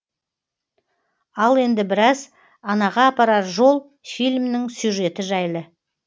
ал енді біраз анаға апарар жол фильмінің сюжеті жайлы